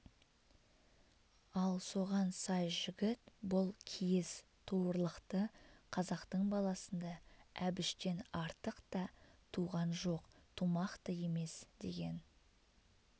ал соған сай жігіт бұл киіз туырлықты қазақтың баласында әбіштен артық та туған жоқ тумақ та емес деген